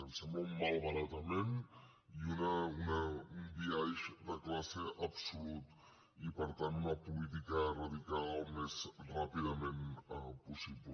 ens sembla un malbaratament i un biaix de classe absolut i per tant una política a eradicar al més ràpidament possible